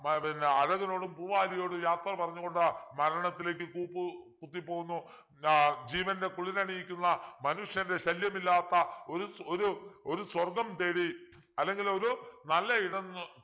ആഹ് പിന്നെ അഴകനോടും പൂവാലിയോടും യാത്ര പറഞ്ഞുകൊണ്ട് മരണത്തിലേക്ക് കൂപ്പു കുത്തി പോകുന്നു ആഹ് ജീവൻ്റെ കുളിരണിയിക്കുന്ന മനുഷ്യൻ്റെ ശല്യം ഇല്ലാത്ത ഒരു ഒരു ഒരു സ്വർഗം തേടി അല്ലെങ്കിൽ ഒരു നല്ലയിടം ന്ന്